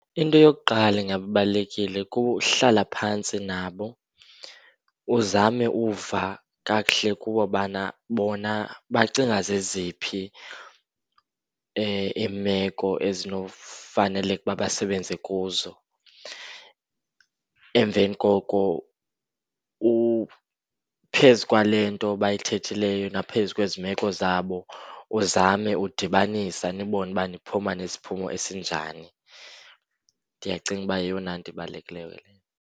Into yokuqala engaba ibalulekile kuhlala phantsi nabo. Uzame uva kakuhle kubo bana bona bacinga zeziphi iimeko ezinofaneleke ukuba basebenze kuzo. Emveni koko phezu kwale nto bayithethileyo naphezu kwezi meko zabo, uzame udibanisa nibone uba niphuma nesiphumo esinjani. Ndiyacinga uba yeyona nto ibalulekileyo leyo.